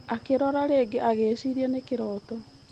Akĩrora rĩngĩ agĩĩciiria nĩ kĩrooto.